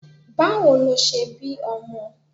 Báwo lo ṣe bí ọmọ?